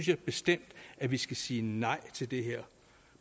jeg bestemt at vi skal sige nej til det her